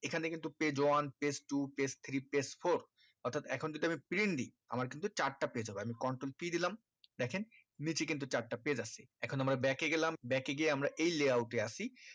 এখানে কিন্তু page one page two page three page four অর্থাৎ এখন যদি আমি print দিই আমার কিন্তু চারটা page হবে আমি control p দিলাম দেখেন নিচে কিন্তু চারটা page আছে এখন আমরা back এ গেলাম back এ গিয়ে আমরা এই layout এ আসি